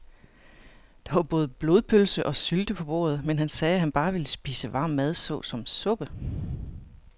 Der var både blodpølse og sylte på bordet, men han sagde, at han bare ville spise varm mad såsom suppe.